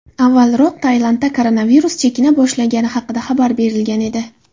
Avvalroq Tailandda koronavirus chekina boshlagani haqida xabar berilgan edi .